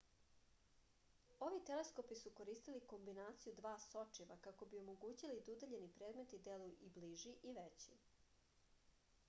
ovi teleskopi su koristili kombinaciju dva sočiva kako bi omogućili da udaljeni predmeti deluju i bliži i veći